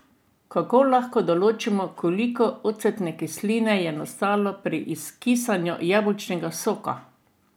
Kako lahko določimo, koliko ocetne kisline je nastalo pri kisanju jabolčnega soka?